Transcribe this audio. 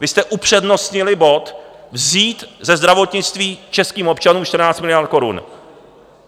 Vy jste upřednostnili bod vzít ze zdravotnictví českým občanům 14 miliard korun.